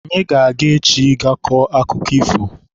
Anyị ga-aga echi ga kọọ akụkọ ifo.